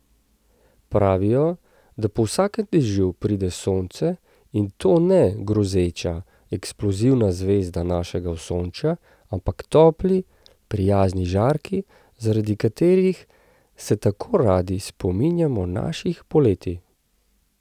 Pravijo, da po vsakem dežju pride sonce, in to ne grozeča, eksplozivna zvezda našega osončja, ampak topli, prijazni žarki, zaradi katerih se tako radi spominjamo naših poletij.